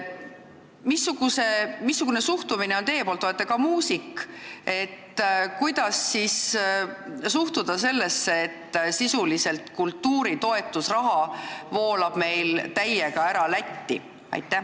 Missugune on teie suhtumine – te olete ka muusik –, kuidas suhtuda sellesse, et sisuliselt kultuuritoetuse raha voolab meil täiega Lätti?